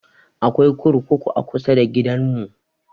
Akwai kurkuku a kusa da gidan mu